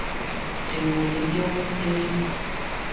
dingwe le dingwe tse di